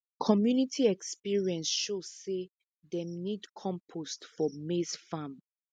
community experience show say dem need compost for maize farm